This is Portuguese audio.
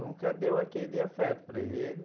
Nunca deu aquele afeto para ele.